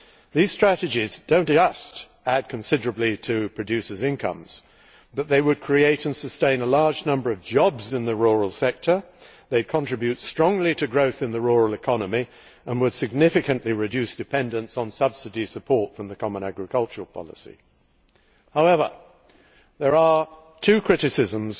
These strategies do not just add considerably to producers' incomes, they can also create and sustain a large number of jobs in the rural sector, they contribute strongly to growth in the rural economy, and they will significantly reduce dependence on subsidy support from the common agricultural policy. However, I have two criticisms